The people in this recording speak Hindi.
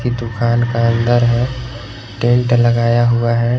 दुकान का अंदर है टेंट लगाया हुआ है।